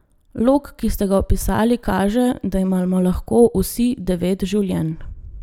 Lok, ki ste ga opisali, kaže, da imamo lahko vsi devet življenj.